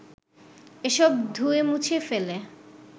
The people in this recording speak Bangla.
এসব ধুয়েমুছে ফেলে